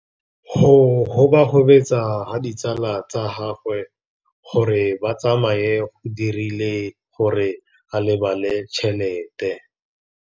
Go gobagobetsa ga ditsala tsa gagwe, gore ba tsamaye go dirile gore a lebale tšhelete.